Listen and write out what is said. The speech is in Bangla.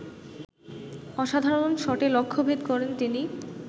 অসাধারণ শটে লক্ষ্যভেদ করেন তিনি